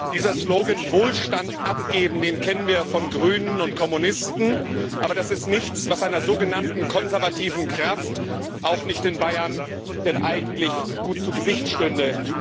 Dieser Slogan Wohlstand abgeben, den kennen wir von den Grünen und Kommunisten, aber das ist nichts, was einer sogenannten konservativen Kraft, auch nicht in Bayern, eigentlich gut zu Gesicht stünde.